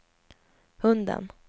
hunden